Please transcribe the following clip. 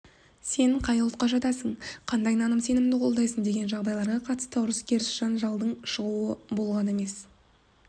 сен қай ұлтқа жатасың қандай наным-сенімді қолдайсың деген жағдайларға қатысты ұрыс-керіс жан-жалдың шығуы болған емес